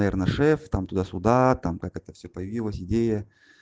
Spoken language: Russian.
наверно шеф там туда-сюда там как это все появилась идея